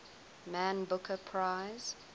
man booker prize